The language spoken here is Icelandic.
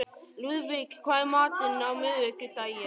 Lúðvík, hvað er í matinn á miðvikudaginn?